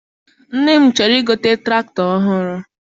nne m chọrọ I gote tụractọr ọhụụ.